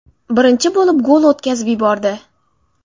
Birinchi bo‘lib gol o‘tkazib yubordi.